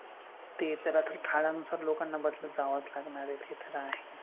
ते तर आता काळानुसार लोकांना बदलत जावंच लागणार आहे ते तर आहेच.